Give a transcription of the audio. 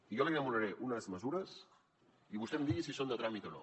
jo li anomenaré unes mesures i vostè em digui si són de tràmit o no